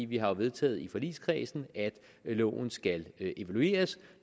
vi har jo vedtaget i forligskredsen at loven skal evalueres